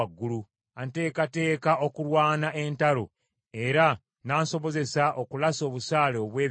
Anteekateeka okulwana entalo, era n’ansobozesa okulasa obusaale obw’ebikomo.